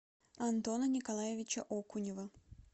антона николаевича окунева